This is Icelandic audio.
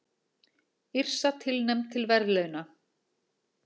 Yrsa tilnefnd til verðlauna